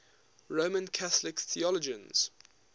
roman catholic theologians